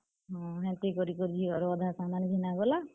ହଁ, ହେନ୍ତି କରି କରି ଝିଅ ର ଅଧା ସାମାନ୍ ଘିନା ଗଲା।